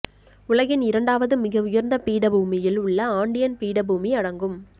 உலகின் இரண்டாவது மிக உயர்ந்த பீடபூமியில் உள்ள ஆண்டியன் பீடபூமி அடங்கும்